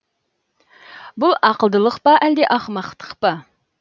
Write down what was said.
бұл ақылдылық па әлде ақымақтық па